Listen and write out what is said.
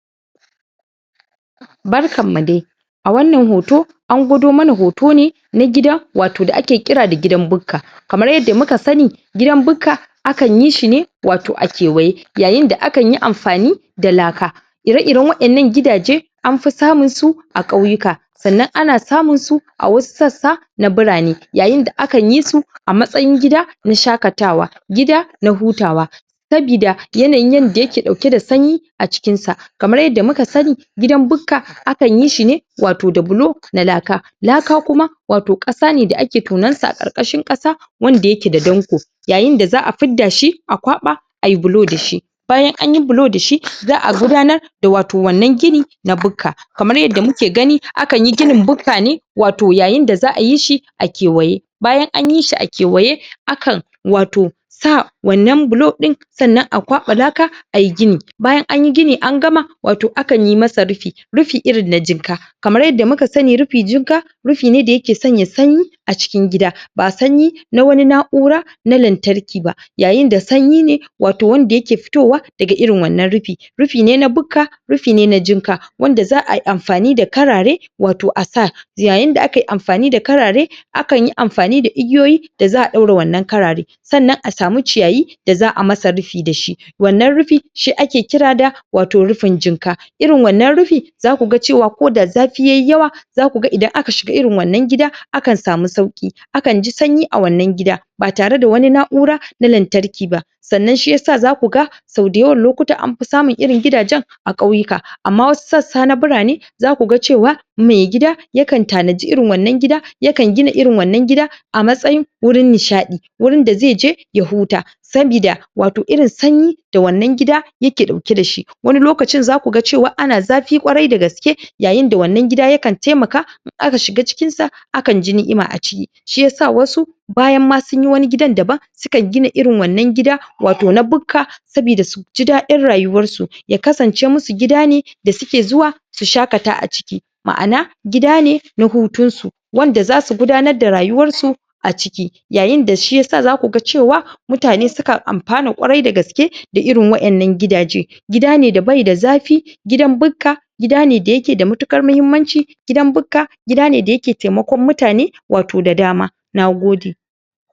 Barkan mu dai! A wannan hoto, an gwado mana hoto ne na gida, wato da ake kira da gidan bukka. Kamar yadda muka sani gidan bukka akan yi shi ne wato a kewaye yayin da aka yi amfani da laka. Ire-iren waƴannan gidaje anfi samun su wato a ƙauyuka. Sannan ana samun su a wasu sassa na birane yayin da akan yi su a matsayin gida na shaƙatawa, gida na hutawa. Sabida yanayin yadda ya ke ɗauke da sanyi a cikin sa. Kamar yadda muka sani gidan bukka akan yi shi ne wato da bullo na laka. Laka kuma wato ƙasa ne da ake tonon sa a ƙarƙashin ƙasa wanda ya ke da danƙo. Yayin da za'a fidda shi, kwaɓa ayi bulo da shi. Bayan anyi bulo da shi, za'a gudanar da wato wannan gini na bukka. Kamar yadda muke gani akan yi ginin bukka ne, wato yayin da za'a yi shi a kewaye. Bayan anyi shi a kewaye, akan wato sa wannan bulo ɗin sannan a kwaɓa laka ayi gini. Bayan anyi gini an gama waton akan yi masa rufi, rufi irin na jinka Kamar yadda muka sani rufi jikka, rufi ne da ya ke sanya sanyi a cikin gida, ba sanyi na wani na'ura na lantarki ba. Yayin da sanyi ne wanda ya ke fitowa daga irin wannan rufi, rufi ne na bukka, rufi ne na jikka. Wanda za'a yi amfani da karare wato a sa Yayin da aka yi amfani da karare, akan yi amfani da igiyoyi da za'a ɗaure wannan karare. Sannan a samu ciyayi da za'a masa rufi da shi. Wannan rufi shi ake kira da wato rufin jinka. Irin wannan rufi za ku ga cewa koda zafi yayi yawa, za ku ga idan aka shiga irin wannan gida akan samu sauƙi, akan ji sanyi a wannan gida. Ba tare da wani na'ura na lantarki ba. Sannan shi yasa za ku ga, sau da yawan lokuta anfi samun irin waƴannan gidajen a ƙauyuka. Ammam wasu sassa na bire ne za ku ga cewa mai gida yakan tanaji irin wannan gida, yakan gina irin wannan gida a matsayin wurin nishaɗi, wurin da zai je ya huta. Sabida wato irin sanyi da wannan gida ya ke ɗauke da shi. Wani lokacin za ku ga cewa ana zafi ƙwarai da gaske. Yayin da wannan gida yakan taimaka in aka shiga cikin sa akan ji ni'ima a ciki. Shi yasa wasu bayan ma sunyi wani gidan daban, sukan gina irin wannan gida wato na bukka sabida suji daɗin rayuwarsu. Ya kasance musu gida ne da suke zuwa su shaƙata a ciki. Ma'ana gida ne na hutun su. Wanda za su gudanar da rayuwarsu a ciki. Yayin da si yasa za ku cewa mutane sukan amfana ƙwarai da gaske a irin waƴannan gidaje. Gida ne da bai da zafi, gidan bukka gida ne da ya ke da matuƙar muhimmanci, gidan bukka gida ne da ya ke taimakon mutane wato da dama. Nagode!